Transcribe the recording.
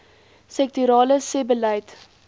sektorale sebbeleid